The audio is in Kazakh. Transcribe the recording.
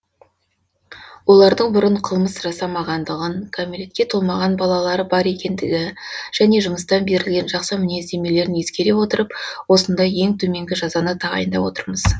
олардың бұрын қылмыс жасамағандығын кәмелетке толмаған балалары бар екендігі және жұмыстан берілген жақсы мінездемелерін ескере отырып осындай ең төменгі жазаны тағайындап отырмыз